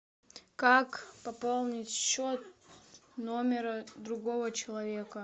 как пополнить счет номера другого человека